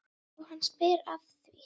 Já, hann spyr að því?